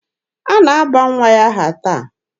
A na-aba nwa ya aha taa.